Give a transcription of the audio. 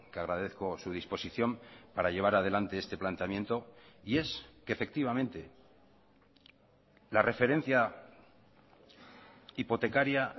agradezco su disposición para llevar adelante este planteamiento y es que efectivamente la referencia hipotecaría